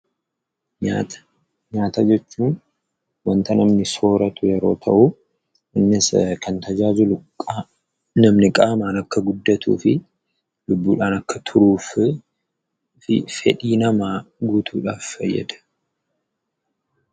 Nyaata. Nyaata jechuun wanta namni sooratu yeroo ta'uu innisi kan tajaajilu namni qaamaan akka guddatuu fi lubbuudhaan akka turuu fi fedhii namaa guutuudhaaf fayyada.